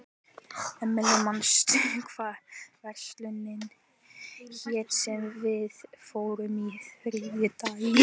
Emely, manstu hvað verslunin hét sem við fórum í á þriðjudaginn?